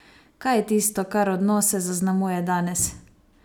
Kaj je tisto, kar odnose zaznamuje danes?